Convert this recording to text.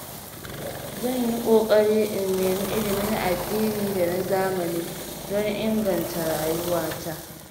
Zan yi ƙoƙari in nemi ilimin addini da na zamani don inganta rayuwata.